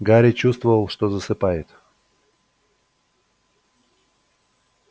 гарри чувствовал что засыпает